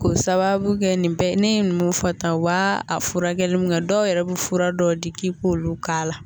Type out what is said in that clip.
K'o sababu kɛ nin bɛɛ ne ye mun fɔ ta wa a furakɛli min kɛ dɔw yɛrɛ bɛ fura dɔw di k'i k'olu k'a la